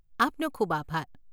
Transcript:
આપનો ખૂબ આભાર.